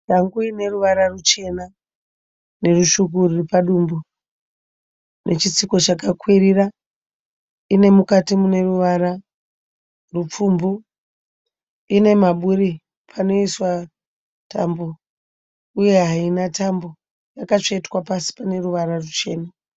Shangu ine ruvara ruchena nerutsvuku ruri padumbu nechitsiko chakakwirira. Ine mukati mune ruvara rupfumbu. Ine maburi panoiswa tambo uye haina tambo. Yakatsvetwa pasi pane ruvara ruchena.